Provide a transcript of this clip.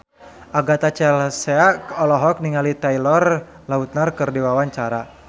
Agatha Chelsea olohok ningali Taylor Lautner keur diwawancara